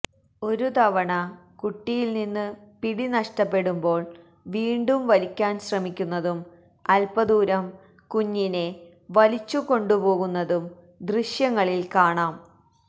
ഒരു തവണ കുട്ടിയില് നിന്ന് പിടി നഷ്ടപ്പെടുമ്പോള് വീണ്ടും വലിക്കാന് ശ്രമിക്കുന്നതും അല്പ്പദൂരം കുഞ്ഞിനെ വലിച്ചുകൊണ്ടുപോകുന്നതും ദൃശ്യങ്ങളില് കാണാം